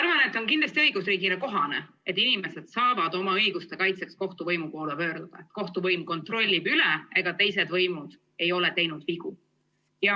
Ma arvan, et kindlasti on õigusriigile kohane, kui inimesed saavad oma õiguste kaitseks kohtuvõimu poole pöörduda – kohtuvõim kontrollib üle, ega teised võimud ei ole teinud vigu.